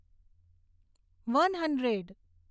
one hundred